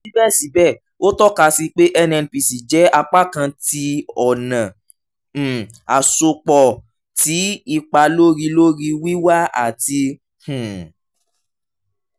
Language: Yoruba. sibẹsibẹ o tọka si pe nnpc jẹ apakan ti ọna um asopọ ti ipa lori lori wiwa ati um